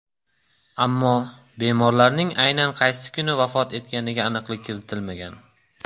Ammo bemorlarning aynan qaysi kuni vafot etganiga aniqlik kiritilmagan.